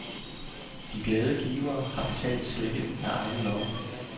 De glade givere har betalt slikket af egen lomme.